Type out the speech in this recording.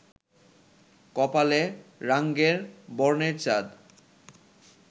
কপালে রাঙ্গের বর্ণের চাঁদ